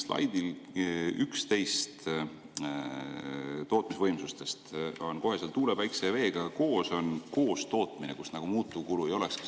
Slaidil 11 tootmisvõimsuste kohta on kohe tuule, päikese ja veega koos koostootmine, kus nagu muutuvkulu ei olekski.